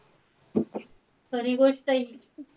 खरी गोष्टय हि.